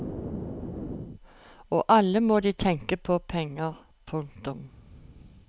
Og alle må de tenke på penger. punktum